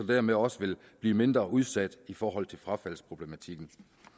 dermed også vil blive mindre udsat i forhold til frafaldsproblematikken